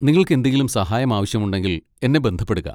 നിങ്ങൾക്ക് എന്തെങ്കിലും സഹായം ആവശ്യമുണ്ടെങ്കിൽ എന്നെ ബന്ധപ്പെടുക.